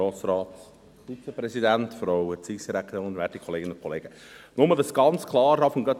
Nur, dass es schon vorweg ganz klar ist: